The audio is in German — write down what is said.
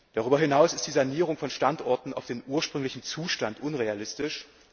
Darüber hinaus ist die Sanierung von Standorten auf den ursprünglichen Zustand unrealistisch.